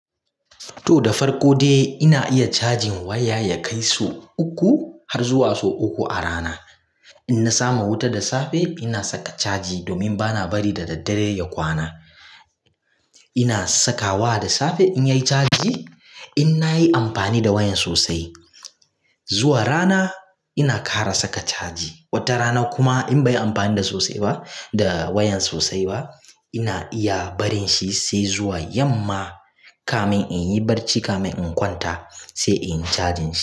To da farko dai ina iya cajin waya ya kai sau uku har zuwa sau uku a rana. In na samu wuta da safe ina saka caji domin bana bari da daddare ya kwana. Ina sakawa da safe in yayi caji. In nayi amfani da waya sosai zuwa rana ina kara saka caji. Wata rana kuma in bai yi amfani da sosai ba da wayan sosai ba ina iya barin shi sai zuwa yamma kamin in yi barci kamin in kwanta sai in cajin shi.